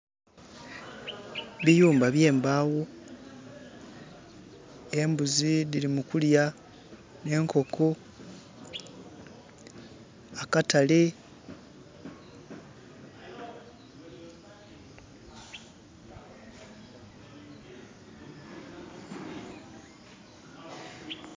Biyumba by'embagho. Embuzi dhiri mu kulya, n'enkoko. Akatale....